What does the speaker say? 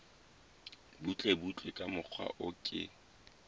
butlebutle ka mokgwa o ke